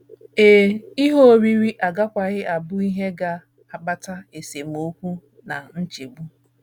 Ee, ihe oriri agakwaghị abụ ihe ga - akpata esemokwu na nchegbu.